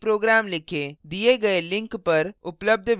दिए गए link